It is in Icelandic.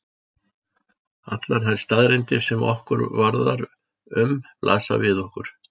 Allar þær staðreyndir sem okkur varðar um blasa við okkur.